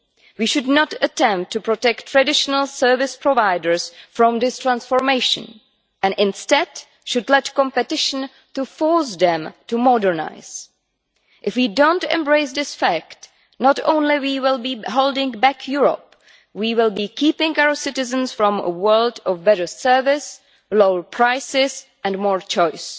We should not attempt to protect traditional service providers from this transformation, and instead should let competition force them to modernise. If we do not embrace this fact, not only will we be holding back Europe, we will be keeping our citizens from a world of better service, lower prices and more choice.